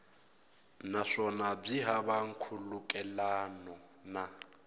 naswona byi hava nkhulukelano na